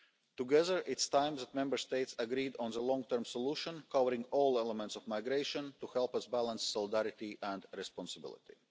do more. Together, it is time that Member States agreed on a long term solution covering all elements of migration, to help us balance solidarity and responsibility.